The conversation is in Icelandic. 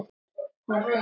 Hann hverfur mér ekki.